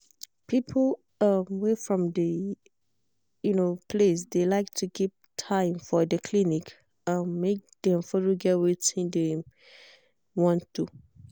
people um wey from de um place de like to keep time for de clinic um make dem follow get wetin de wey dem want do.